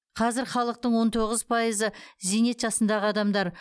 қазір халықтың он тоғыз пайызы зейнет жасындағы адамдар